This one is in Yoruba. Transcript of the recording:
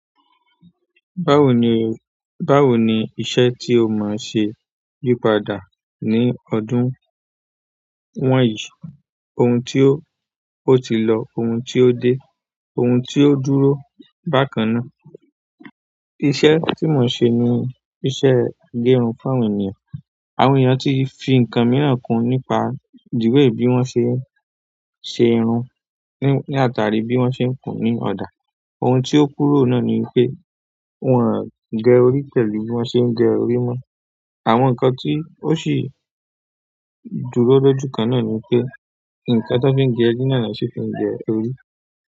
Báwo ni, báwo ni iṣẹ́ tí o máa ṣe yípadà ní ọdún wọ̀nyí? Ohun tí ó, ó ti lọ, ohun tí ó dé, ohun tí ó dúró bákan náà. Iṣẹ́ tí mò ń ṣe ni iṣẹ́ agẹrun fún àwọn ènìyàn. Àwọn ènìyàn tí fi nǹkan mìíràn kún nípa the way bí wọ́n ṣe ń ṣe irun, ní àtàrí bí wọ́n ṣe ń kùn ní ọ̀dà. Ohun tí ó kúrò náà ni pé, wọ́n ò ń gẹ orí pẹ̀lú bí wọ́n ṣe ń gẹ orí mọ́. Àwọn nǹkan tí ó sì dúró lọ́jú kan náà ni pé, nǹkan tí wọ́n fi gẹ ri náà na ṣi fi n gẹ orí.